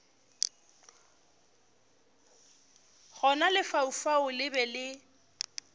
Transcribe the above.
gona lefaufau le be le